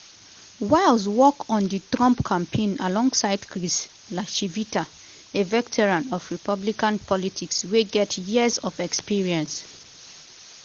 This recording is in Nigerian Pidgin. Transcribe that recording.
wiles work on di trump campaign alongside chris lacivita a veteran of republican politics wey get years of experience.